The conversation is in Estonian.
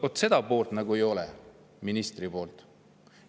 Vaat seda poolt ministril nagu ei ole.